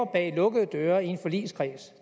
bag lukkede døre i en forligskreds